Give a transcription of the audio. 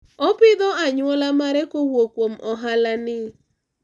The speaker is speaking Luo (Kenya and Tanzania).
opidho anywola mare kowuok kuom ohala ni